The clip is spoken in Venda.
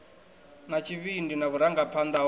na tshivhindi na vhurangaphanḓa ho